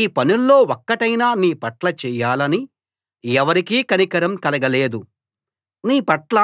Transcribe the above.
ఈ పనుల్లో ఒక్కటైనా నీ పట్ల చెయ్యాలని ఎవరికీ కనికరం కలగలేదు నీ పట్ల